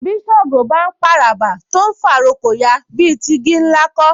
Bí Ṣàngó bá ń p'àràbà tó ń fà'rókò ya, bí i ti igi ńlá kọ́